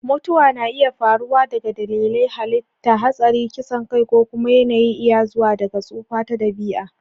Mutuwa na iya faruwa daga dalilai na halitta (hatsari, kisan kai), ko kuma yana iya zuwa daga tsufa ta dabi'a.